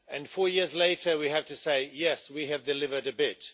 Four years later we have to say yes, we have delivered a bit.